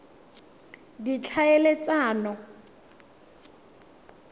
ditlhaeletsano